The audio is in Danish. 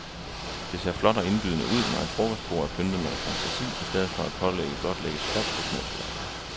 Det ser flot og indbydende ud, når et frokostbord er pyntet med lidt fantasi i stedet for at pålægget blot lægges fladt på små tallerkener.